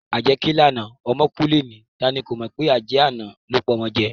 Ajẹ́ ké lánàá ọmọ kú lénìí, tani kò mọ̀ pé ajẹ́ àná ló pọmọ jẹ